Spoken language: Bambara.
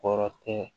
Kɔrɔ tɛ